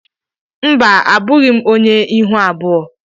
Mba abụghị m ónyé ịhụ abụọ.